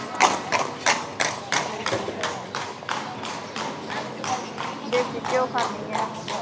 ਦੇਸੀ ਘਿਓ ਖਾਨੀ ਆ